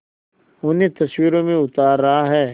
उन्हें तस्वीरों में उतार रहा है